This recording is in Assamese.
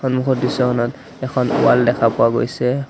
সন্মুখৰ দৃশ্যখনত এখন ৱাল দেখা পোৱা গৈছে।